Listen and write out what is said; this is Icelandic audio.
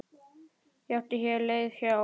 Ég átti hér leið hjá.